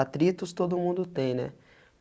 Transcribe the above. Atritos todo mundo tem, né?